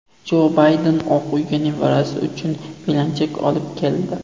Jo Bayden Oq uyga nevarasi uchun belanchak olib keldi.